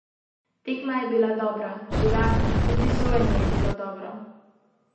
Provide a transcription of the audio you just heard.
Kako vidite trenutno situacijo?